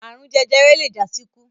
Àrun jẹjẹrẹ le jásíkú.